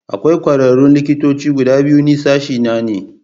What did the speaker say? Akwai kwararrun likitoci guda biyu Ni sashena ne.